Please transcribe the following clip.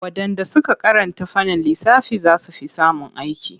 Waɗanda suka karanta fannin lissafi za su fi samun aiki./